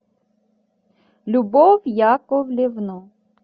любовь яковлевну